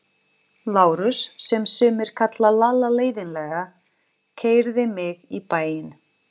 Lárus, sem sumir kalla Lalla leiðinlega, keyrði mig í bæinn.